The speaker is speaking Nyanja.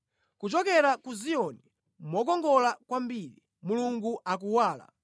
Kuchokera ku Ziyoni, mokongola kwambiri Mulungu akuwala.